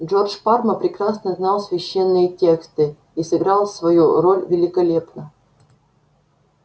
джордж парма прекрасно знал священные тексты и сыграл свою роль великолепно